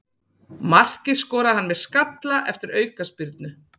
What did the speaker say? Markið skoraði hann með skalla eftir aukaspyrnu.